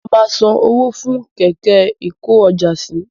Mo ma san owó fún kẹ̀kẹ́ ikojásí